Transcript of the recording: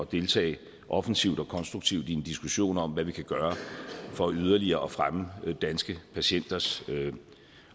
deltage offensivt og konstruktivt i en diskussion om hvad vi kan gøre for yderligere at fremme danske patienters